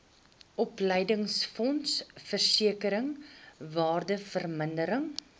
opleidingsfonds versekering waardevermindering